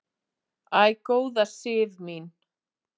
"""Æ, góða Sif mín!"""